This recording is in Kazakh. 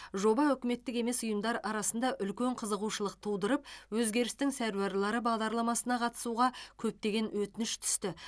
жоба үкіметтік емес ұйымдар арасында үлкен қызығушылық тудырып өзгерістің сәруарлары бағдарламасына қатысуға көптеген өтініш түсті